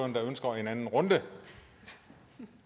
der ønsker en anden runde